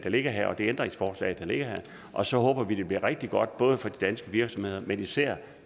ligger her og det ændringsforslag der ligger her og så håber vi at det bliver rigtig godt både for de danske virksomheder men især